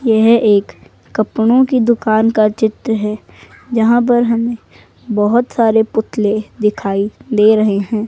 यह एक कपड़ों की दुकान का चित्र है जहां पर हमें बहोत सारे पुतले दिखाई दे रहे हैं।